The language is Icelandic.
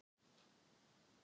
En tekur þetta langan tíma.